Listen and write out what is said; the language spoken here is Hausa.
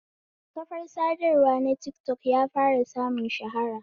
Kafar sadarwa na tikatok ya fara samun shahara sosai